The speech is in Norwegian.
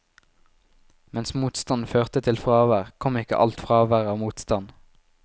Mens motstand førte til fravær, kom ikke alt fravær av motstand.